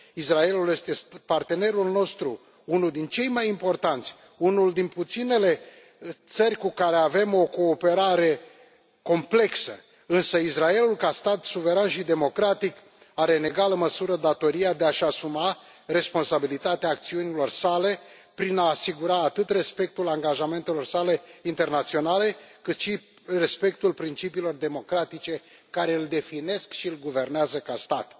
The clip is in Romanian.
Israelul este partenerul nostru, unul din cei mai importanți, una din puținele țări cu care avem o cooperare complexă, însă Israelul, ca stat suveran și democratic, are în egală măsură datoria de a și asuma responsabilitatea acțiunilor sale, prin a asigura atât respectul angajamentelor sale internaționale, cât și respectul principiilor democratice care îl definesc și îl guvernează ca stat.